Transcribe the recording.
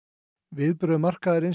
viðbrögð markaðarins